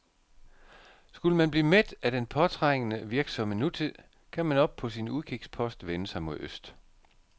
Skulle man blive mæt af den påtrængende, virksomme nutid, kan man oppe på sin udkigspost vende sig mod øst.